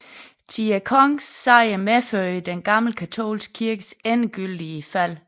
Thi kongens sejr medførte den gamle katolske kirkes endegyldige fald